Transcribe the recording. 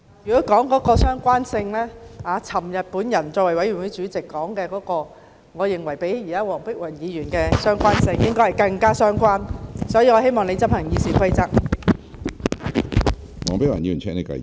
如果說相關性，昨天我作為法案委員會主席所說的，我認為較黃碧雲議員現時所說的更為相關，所以，我希望你執行《議事規則》。